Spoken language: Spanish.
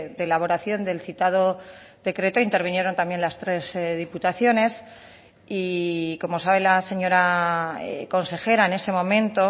de elaboración del citado decreto intervinieron también las tres diputaciones y como sabe la señora consejera en ese momento